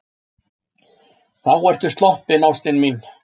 Þá ertu sloppin, ástin mín.